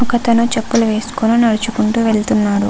ఒక అతను చెప్పులు వేసుకుని నడుచుకుంటూ వెళ్తున్నాడు.